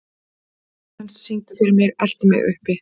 Klemens, syngdu fyrir mig „Eltu mig uppi“.